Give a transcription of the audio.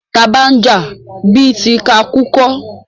Taa bá ń jà, bí ti ká kú kọ́.